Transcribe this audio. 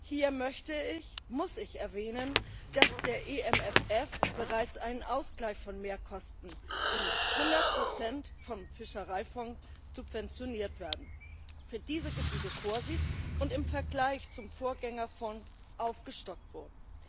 Hier möchte ich, muss ich erwähnen, dass der EMFF bereits einen Ausgleich von Mehrkosten, die zu 100 vom Fischereifonds subventioniert werden, für diese Gebiete vorsieht und im Vergleich zum Vorgängerfonds aufgestockt wurden.